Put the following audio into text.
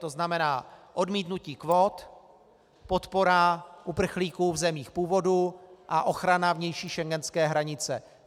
To znamená odmítnutí kvót, podpora uprchlíků v zemích původu a ochrana vnější schengenské hranice.